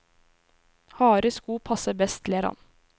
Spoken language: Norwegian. Harde sko passer best, ler han.